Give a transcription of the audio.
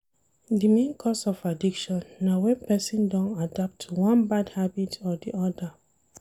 Di main cause of addiction na when person don adapt to one bad habit or di other